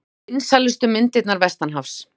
Vinsælustu myndirnar vestanhafs